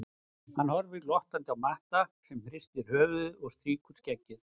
Hann horfir glottandi á Matta sem hristir höfuðið og strýkur um skeggið.